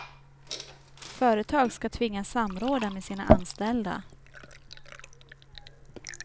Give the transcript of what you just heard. Företag ska tvingas samråda med sina anställda.